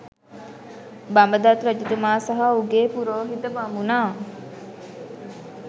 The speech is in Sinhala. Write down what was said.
බඹදත් රජතුමා සහ ඔහුගේ පුරෝහිත බමුණා